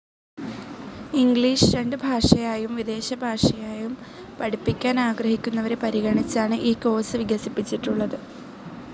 English രണ്ട് ഭാഷയായും വിദേശ ഭാഷയായും പഠിപ്പിക്കാൻ ആഗ്രഹിക്കുന്നവരെ പരിഗണിച്ചാണ് ഈ കോർസ്‌ വികസിപ്പിച്ചിട്ടുള്ളത്.